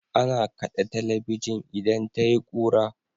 Ana kaɗe talabijin idan tayi kura.